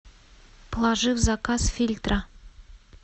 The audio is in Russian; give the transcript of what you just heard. положи в заказ фильтра